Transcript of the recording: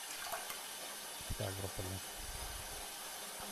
ставрополе